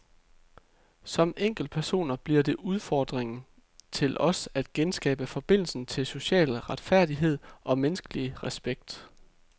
Som enkeltpersoner bliver det udfordringen til os at genskabe forbindelsen til social retfærdighed og menneskelig respekt.